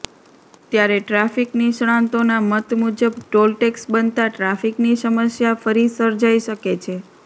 ત્યારે ટ્રાફીક નિષ્ણાતોના મત મુજબ ટોલટેક્ષ બનતા ટ્રાફીકની સમસ્યા ફરી સર્જાઈ શકે છે